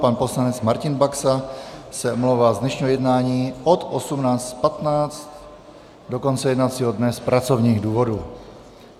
Pan poslanec Martin Baxa se omlouvá z dnešního jednání od 18.15 do konce jednacího dne z pracovních důvodů.